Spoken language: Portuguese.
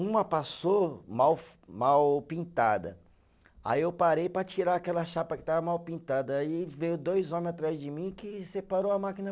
Uma passou mal mal pintada, aí eu parei para tirar aquela chapa que estava mal pintada aí veio dois homens atrás de mim que, você parou a máquina.